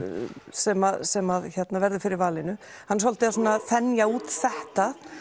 sem sem verður fyrir valinu hann er svolítið að þenja út þetta